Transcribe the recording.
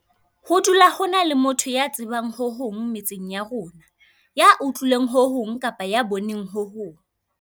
Ho dula ho na le motho ya tsebang ho hong metseng ya rona, ya utlwileng ho hong kapa ya boneng ho hong.